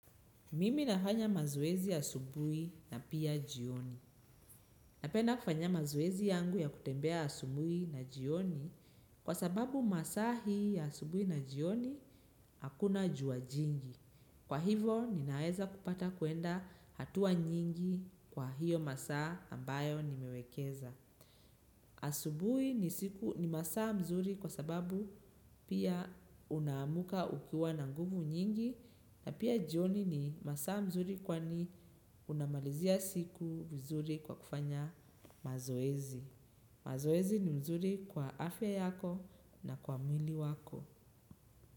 Mimi nafanya mazoezi asubuhi na pia jioni. Napenda kufanya mazoezi yangu ya kutembea asubuhi na jioni kwa sababu masaa hii ya asubuhi na jioni hakuna jua jingi. Kwa hivo ninaeza kupata kuenda hatua nyingi kwa hiyo masaa ambayo nimewekeza. Asubuhi ni masaa mzuri kwa sababu pia unaamuka ukiwa na nguvu nyingi. Na pia jioni ni masaa mzuri kwani unamalizia siku mzuri kwa kufanya mazoezi. Mazoezi ni mzuri kwa afya yako na kwa mwili wako.